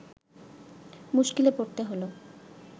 মুস্কিলে পড়তে হল